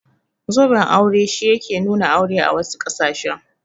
Zoben aure shi yake nuna aure a wasu ƙasashen.